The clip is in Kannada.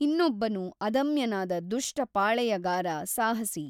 ಇನ್ನೊಬ್ಬನು ಅದಮ್ಯನಾದ ದುಷ್ಟ ಪಾಳೆಯಗಾರ ಸಾಹಸಿ.